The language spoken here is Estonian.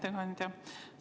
Hea ettekandja!